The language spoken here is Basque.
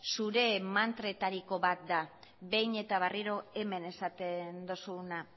zure mantretariko bat da behin eta berriro hemen esaten duzuna